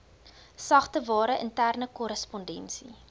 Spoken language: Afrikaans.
sagteware interne korrespondensie